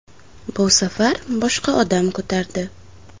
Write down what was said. Bu safar boshqa odam ko‘tardi.